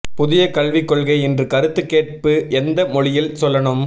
புதிய கல்வி கொள்கை இன்று கருத்து கேட்பு எந்த மொழியில் சொல்லணும்